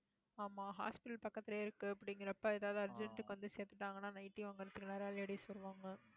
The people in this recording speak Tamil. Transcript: ஆமா, hospital பக்கத்திலேயே இருக்கு அப்படிங்கிறப்ப ஏதாவது urgent வந்து சேத்திட்டாங்கன்னா nightly வாங்குறதுக்கு நிறைய ladies வருவாங்க